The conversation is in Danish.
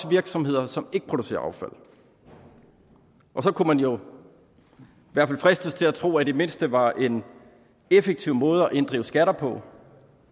virksomheder som ikke producerer affald og så kunne man jo i hvert fald fristes til at tro i det mindste var en effektiv måde at inddrive skatter på